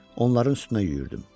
Onların üstünə yüyürdüm.